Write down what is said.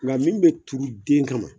Nka min be turu den kama